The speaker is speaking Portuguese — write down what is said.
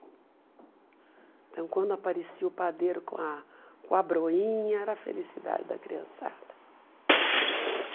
Então, quando aparecia o padeiro com a com a broinha, era a felicidade da criançada.